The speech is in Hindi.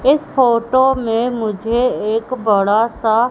इस फोटो में मुझे एक बड़ा सा--